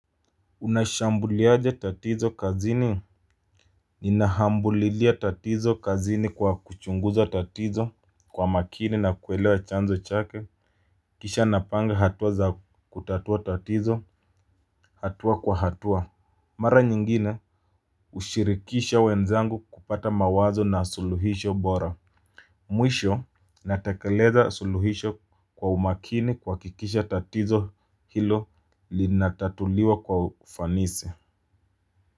Unashambuliaje tatizo kazini. Nina hambulilia tatizo kazini kwa kuchunguza tatizo kwa makini na kuelewa chanzo chake. Kisha napanga hatuwa za kutatua tatizo hatua kwa hatua. Mara nyingine hushirikisha wenzangu kupata mawazo na suluhisho bora. Mwisho natakeleza suluhisho kwa umakini kuhakikisha tatizo hilo linatatuliwa kwa ufanisi.